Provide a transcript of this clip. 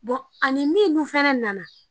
Bon ani min dun fana nana